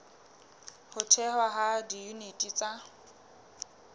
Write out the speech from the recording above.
ho thehwa ha diyuniti tsa